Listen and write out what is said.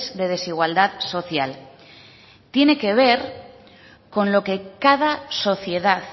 de desigualdad social tiene que ver con lo que cada sociedad